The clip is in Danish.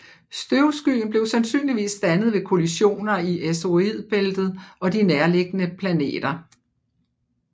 Støvskyen blev sandsynligvis dannet ved kollisioner i asteroidebæltet og de nærliggende planeter